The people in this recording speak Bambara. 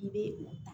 I bɛ o ta